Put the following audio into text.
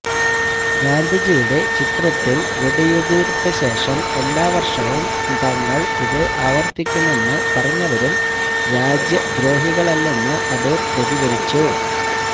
ഗാന്ധിജിയുടെ ചിത്രത്തില് വെടിയുതിര്ത്ത ശേഷം എല്ലാ വര്ഷവും തങ്ങള് ഇത് ആവര്ത്തിക്കുമെന്ന് പറഞ്ഞവരും രാജ്യദ്രോഹികളല്ലെന്ന് അടൂര് പ്രതികരിച്ചു